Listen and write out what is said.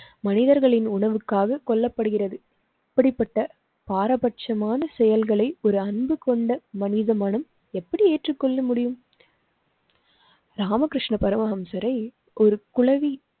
மனிதர்களின் உணவுக்காக கொல்லப்படுகிறது. இப்படிப்பட்ட பாரபட்சமான செயல்களை ஒரு அன்பு கொண்ட மனித மனம் எப்படி ஏற்றுக்கொள்ள முடியும்? ராமகிருஷ்ண பரமஹம்சரை ஒரு குளவி